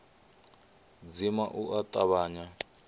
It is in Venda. dzima u a tavhanya u